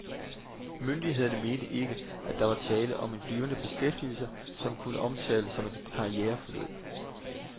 Myndighederne mente ikke, at der var tale om en blivende beskæftigelse, som kunne omtales som et karriereforløb.